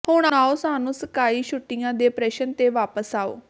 ਹੁਣ ਆਓ ਸਾਨੂੰ ਸਕਾਈ ਛੁੱਟੀਆਂ ਦੇ ਪ੍ਰਸ਼ਨ ਤੇ ਵਾਪਸ ਆਓ